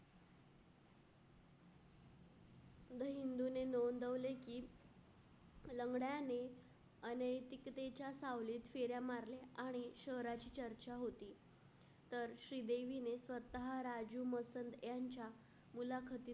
हिंदूने नोंदवले की लंगड्याने अनेक कितीच्या सावलीत फेऱ्या मारले. आणि शरीराची चर्चा होती. तर श्रीदेवीने स्वतः राजू मसल यांच्या मुलाखतीत.